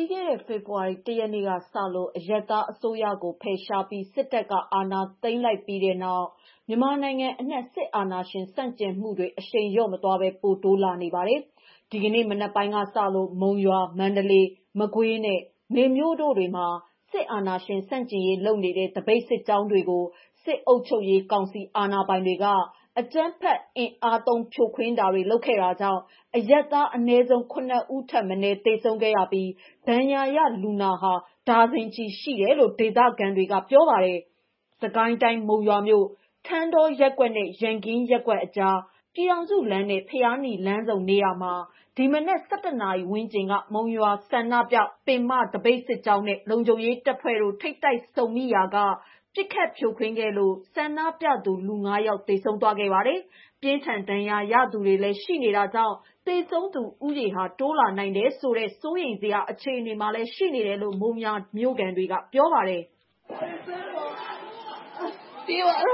ီးခဲ့တဲ့ ဖေဖော်ဝါရီ ၁ ရက်နေ့ကစလို့ အရပ်သား အစိုးရကို ဖယ်ရှားပြီး စစ်တပ်က အာဏာသိမ်းလိုက်ပြီးနောက် မြန်မာနိုင်ငံအနှံ့ စစ်အာဏာရှင်ဆန့်ကျင်လှုပ်ရှားမှုတွေဟာ အရှိန်လျော့မသွားဘဲ ပိုတိုးလာနေပါတယ်။ ဒီကနေ့ မနက်ပိုင်းကစလို့ မုံရွာ၊ မန္တလေး၊ မကွေးနဲ့ မေမြို့တို့တွေမှာ စစ်အာဏာရှင် ဆန့်ကျင်ရေးလုပ်နေတဲ့ သပိတ်စစ်ကြောင်းတွေကို စစ်အုပ်ချုပ်ရေးကောင်စီ အာဏာပိုင်တွေက အကြမ်းဖက်အင်အားသုံးဖြိုခွင်းတာတွေ လုပ်ခဲ့တာကြောင့် အရပ်သားအနည်းဆုံး ၈ ဦးထက်မနည်း သေဆုံးခဲ့ရပြီး ဒဏ်ရာရ လူနာဟာ ဒါဇင်ချီရှိခဲ့တယ်လို့ ဒေသခံတွေကပြောပါတယ်။ စစ်ကိုင်းတိုင်း မုံရွာမြို့ ထန်းတောရက်ကွက်နဲ့ ရန်ကင်းရပ်ကွက်အကြား ပြည်ထောင်စုလမ်းနဲ့ ဘုရားနီလမ်းဆုံနေရာမှာ ဒီမနက် ၁၁ နာရီဝန်းကျင်က မုံရွာ ဆန္ဒပြ ပင်မသပိတ် စစ်ကြောင်းနဲ့ လုံခြုံရေးတပ်ဖွဲ့တို့ ထိပ်တိုက်ဆုံမိရာက ပစ်ခတ်ဖြိုခွင်းခဲ့လို့ ဆန္ဒပြသူ လူ ၆ ယောက် သေဆုံးသွားခဲ့ပါတယ်။ ပြင်းထန်ဒဏ်ရာရသူတွေလည်း ရှိနေတာကြောင့် သေဆုံးသူဦးရေဟာ တိုးလာနိုင်တယ်ဆိုတဲ့ စိုးရိမ်စရာအခြေအနေလည်း ရှိနေတယ်လို့ မုံရွာမြို့ခံတွေကပြောကြပါတယ်။ ဒီပစ်ခတ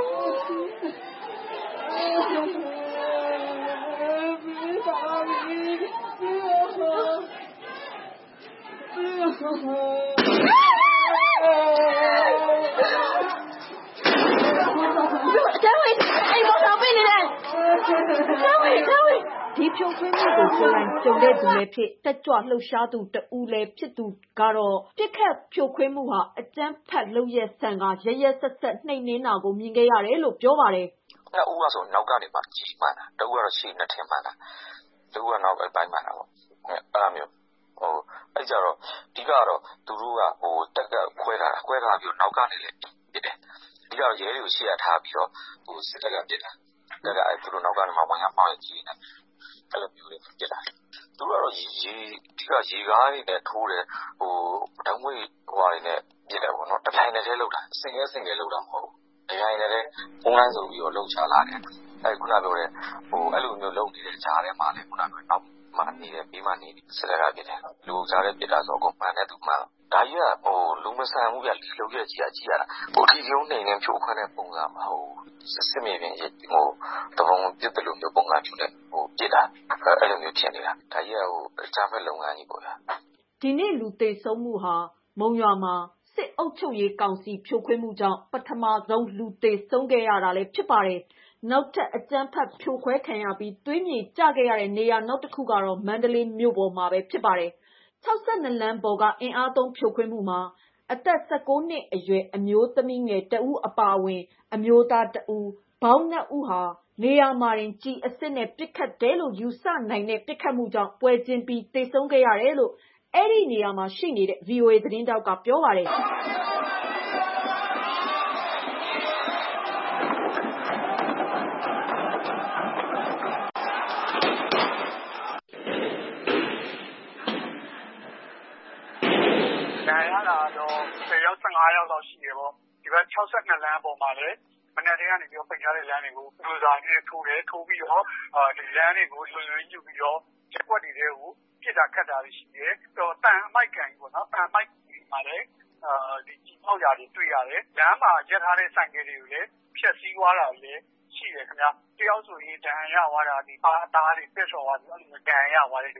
်ဖြိုခွင်းမှုကို ကိုယ်တိုင်ကြုံသူလည်းဖြစ် တက်ကြွလှုပ်ရှားသူ တဦးလည်း ဖြစ်သူတဦးကတော့ ပစ်ခတ်ဖြိုခွင်းမှုဟာ အကြမ်းဖက်လုပ်ရပ်ဆန်ကာ ရက်ရက်စက်စက်နှိမ်နင်းတာကို မြင်ခဲ့ရတယ်လို့ပြောပြပါတယ်။ "နှစ် ဦးကဆို နောက်ကနေ ကျည်မှန်တာ၊ တဦးဆို ရှေ့နားထင် မှန်တယ်။ တဦးကနောက်ဘက်ပိုင်း မှန်တာပေါ့... အဲဒီလိုမျိုး။ အဓိကကတော့ တပ်က ခွဲထားတယ်။ နောက်ကနေလည်း ပစ်တယ်။ အဓိကကတော့ ရဲတွေကို အရှေ့ထားပြီးတော့ စစ်တပ်ကပစ်တာ။ တပ်က နောက်က ဝမ်းယားမှောက်ယက်နဲ့ကိုပစ်တာ။ သူတို့ကရေကားနဲ့ ထိုးတယ်။ ဓာတ်ငွေ့ဟာနဲ့ ပစ်တယ်။ တပြိုင်နက်ထဲ လုပ်တာ၊ ဆင့်ကဲဆင့်ကဲလုပ်တာမဟုတ်ဘူး။ အဲဒီလိုတပြိုင်နက်ထဲလုပ်နေတဲ့ကြားထဲမှာလည်း နောက်မှာနေတဲ့၊ ဘေးမှာနေတဲ့ စစ်တပ်က ပစ်တယ်။ လူအုပ်ကြားထဲ ပစ်တယ်။ အဲဒီတော့ မှန်တဲ့သူမှန်တယ်။ ဒါကြီးက လူမဆန်ဘူးဗျ။ လုပ်ရပ်ကြီးက အဓိကရုဏ်းနှိမ်နင်းတဲ့ ပုံစံမဟုတ်ဘူး။ စစ်မြေပြင်ကို သူပုန်ပစ်သလို ပုံစံမျိုးကို ပစ်တာ။ ဒါကြီးက အကြမ်းဖက်လုပ်ငန်းကြီးပေါ့ဗျာ။" ဒီနေ့ လူသေဆုံးမှုဟာ မုံရွာမှာ စစ်အာဏာသိမ်းကောင်စီ ဖြိုခွင်းမှုကြောင့် ပထမဆုံးလူသေဆုံးခဲ့တာလည်းဖြစ်ပါတယ်။ နောက်ထပ် အကြမ်းဖက်ဖြိုခွဲခံရပြီး သွေးမြေကျခဲ့ရတဲ့ နေရာနောက်တခုကတော့ မန္တလေးမြို့ပေါ်မှာပဲ ဖြစ်ပါတယ်။ ၆၂ လမ်းပေါ်က အင်အားသုံးဖြိုခွင်းမှုမှာ အသက် ၁၉ နှစ်အရွယ်အမျိုးသမီးငယ်တဦးအပါအဝင်၊ အမျိုးသားတဦး၊ ပေါင်း ၂ ဦးဟာနေရာမှာတင် ကျည်အစစ်နဲ့ ပစ်ခတ်တယ်လို့ ယူဆနိုင်တဲ့ ပစ်ခတ်မှုကြောင့် ပွဲချင်းပြီး သေဆုံးခဲ့ရတယ်လို့ အဲဒီနေရာမှာ ရှိနေတဲ့ ဗွီအိုအေသတင်းထောက်က ပြောပြပါတယ်။ "ဒဏ်ရာရတာကတော့ ၁၀ ယောက်၊ ၁၅ ယောက်လောက်ရှိတယ်။ ဒီဘက် ၆၂ လမ်းပေါ်မှာလည်း မနက်ကတည်းက ပိတ်ထားတဲ့လမ်းတွေကို ဘူထိုစာတွေနဲ့ ထိုးတယ်။ လမ်းတွေကို လုံခြုံရေးယူပြီးတော့ ရပ်ကွက်တွေထဲကို ပစ်တာ၊ ခတ်တာတွေ ရှိတယ်။ သံအမှိုက်ကန်မှာလည်း ကျည်ဖောက်ရာတွေ တွေ့ရတယ်။ လမ်းမှာ ရပ်ထားတဲ့ ဆိုင်ကယ်တွေကိုလည်း ဖျက်ဆီးသွားတာတွေလည်း ရှိတယ်ခင်ဗျ။ တယောက်ဆိုရင် ဒဏ်ရာရသွားတာဆိုရင် ဒီပါးအသားပဲ့ထွက်သွားတယ်။ ဒီ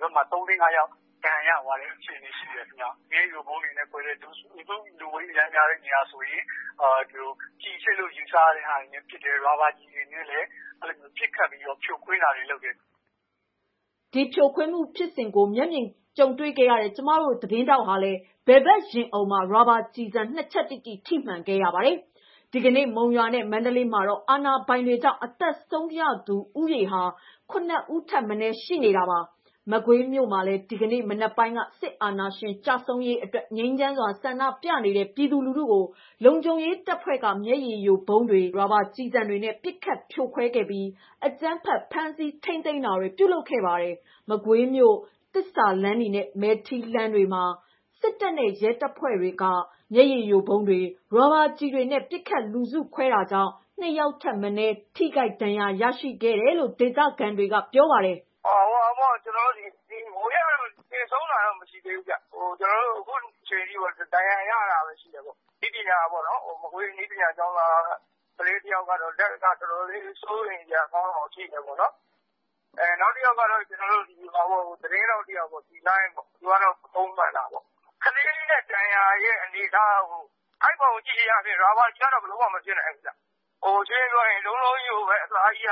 ဘက်မှာ သုံး၊ လေး၊ ငါးယောက် ဒဏ်ရာရသွားတာ ရှိတယ်ခင်ဗျ။ မျက်ရည်ယိုဗုံးတွေနဲ့ ခွဲတယ်။၊ လူစုလူဝေးအရမ်းများတဲ့နေရာဆိုရင် ကျည်အစစ်လို့ ယူဆရတဲ့ဟာတွေနဲ့ ပစ်တယ်၊ ရာဘာကျည်တွေနဲ့လည်း ပစ်ခတ်ပြီးတော့ ဖြိုခွင်းတာတွေ လုပ်တယ်။" ဒီလိုဖြိုခွင်းမှုဖြစ်စဉ်ကို မျက်မြင်တွေ့ခဲ့တဲ့ ကျမတို့သတင်းထောက်ဟာလည်း ဘယ်ဘက်ရင်အုံမှာ ရာဘာကျည်ဆံ နှစ် ချက်တိတိ ထိမှန်ခံခဲ့ရပါတယ်။ ဒီကနေ့ မုံရွာနဲ့ မန္တလေးမှာတော့ အာဏာပိုင်တွေကြောင့် အသက်ဆုံးရှုံးရသူဦးရေဟာ ၈ ဦးထက် မနည်းရှိနေတာပါ။ မကွေးမြို့မှာလည်း ဒီကနေ့ မနက်ပိုင်းက စစ်အာဏာရှင်ကျဆုံးရေးအတွက် ငြိမ်းချမ်းစွာ ဆန္ဒပြနေတဲ့ ပြည်သူတွေကို လုံခြုံရေးတပ်ဖွဲ့က မျက်ရည်ယိုဗုံးတွေ၊ ရာဘာကျည်တွေနဲ့ ပစ်ခတ်ဖြိုခွဲခဲ့ပြီး အကြမ်းဖက် ဖမ်းဆီးထိန်းသိမ်းတာတွေ ပြုလုပ်ခဲ့ပါတယ်။ မကွေးမြို့ သစ္စာလမ်းနဲ့ မဲထီးလမ်းတွေမှာ စစ်တပ်နဲ့ ရဲတပ်ဖွဲ့ဝင်တွေက မျက်ရည်ယိုဗုံးတွေ၊ ရာဘာကျည်တွေနဲ့ ပစ်ခတ်လူစုခွဲခဲ့တာကြောင့် နှစ် ယောက်ထက်မနည်း ထိခိုက် ဒဏ်ရာရရှိခဲ့တယ်လို့ ဒေသခံတဦးကပြောပါတယ်။ "မကွေးက သေဆုံးတာတော့ မရှိသေးဘူး။ အခုချိန်ထိ ဒဏ်ရာရတာပဲ ရှိတယ်။ မကွေးနည်းပညာကျောင်းသားက ကလေးတယောက်ကတော့ လက်ကအခြေအနေတော်တော်လေး စိုးရိမ်စရာကောင်းတယ်။ နောက်တယောက်ကတော့ သတင်းထောက် တစ် ယောက်ပေါ့.. သူကတော့ ပခုံးမှန်တာပေါ့။ ကလေးဒဏ်ရာရဲ့ အနေအထားကိုကြည့်တာကတော့ အဲဒီပုံကြည့်တာ... ရာဘာကျည်ကတော့ လုံးဝမဖြစ်နိုင်ဘူးဗျ။ လုံးလုံးကြီးကို အသားက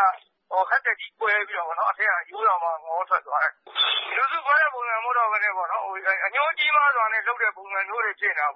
ဟက်တက်ကြီးကွဲပြီးတော့ အထဲက အရိုးတောင်ငေါထွက်သွားတယ်။ လူစုခွဲတဲ့ ပုံစံမဟုတ်တော့ဘဲနဲ့ အငြိုးကြီးမားစွာလုပ်တဲ့ပုံစံမျိုးတွေ ဖြစ်နေတယ်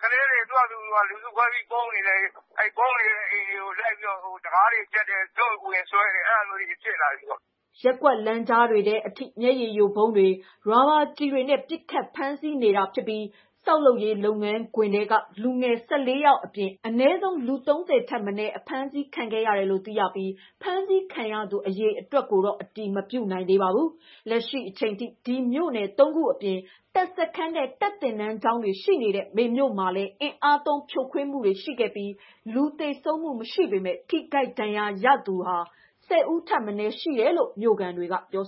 ။ ကလေးတွေ လူစုခွဲပြေးပုန်းနေလည်း အဲဒီပုန်းနေတဲ့ အိမ်တွေကို တံခါးတွေ ဖျက်တယ်၊ ဝင်ဆွဲတယ်။ အဲဒါမျိုးတွေ ဖြစ်လာပြီပေါ့။" ရပ်ကွက်လမ်းကြားတွေထဲအထိ မျက်ရည်ယိုဗုံးတွေ၊ ရာဘာကျည်တွေနဲ့ ပစ်ခတ်ဖမ်းဆီးနေတာဖြစ်ပြီး ဆောက်လုပ်ရေးလုပ်ငန်းခွင်ထဲက လူငယ် ၁၄ ယောက်လောက်အပြင် အနည်းဆုံးလူ ၃၀ ထက်မနည်း အဖမ်းခံရတယ်လို့ သိရပြီး ဖမ်းဆီးခံရသူ အရေအတွက်ကိုတော့ အတည်မပြုနိုင်သေးပါဘူး။ လက်ရှိ အချိန်ထိ ဒီမြို့နယ် ၃ ခုအပြင် တပ်စခန်းနဲ့ တပ်သင်တန်းကျောင်းတွေ ရှိတဲ့ မေမြို့မှာလည်း အင်အားသုံးဖြိုခွင်းမှုတွေရှိခဲ့ပြီး လူသေဆုံးမှု မရှိပေမဲ့ ထိခိုက်ဒဏ်ရာရသူ ၁၀ ဦးထပ်မနည်းရှိတယ်လို့ မြို့ခံတွေကပြော